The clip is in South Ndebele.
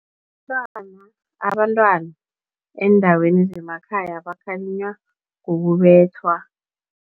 Abantwana eendaweni zemakhaya bakhalinywa ngokubethwa.